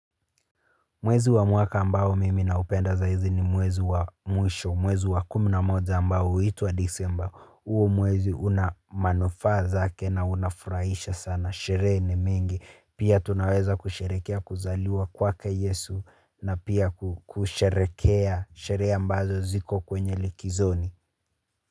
Mwezi wa mwaka ambao mimi naupenda za hizi ni mwezi wa mwisho, mwezi wa kumna moja ambao, huitwa december, uo mwezi una manufa zake na unafuraisha sana, shere ni mingi, pia tunaweza kusherekea kuzaliwa kwake yesu, na pia kusherekea, sherea ambazo ziko kwenye likizoni.